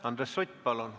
Andres Sutt, palun!